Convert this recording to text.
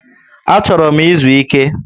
Achoro m izu Ike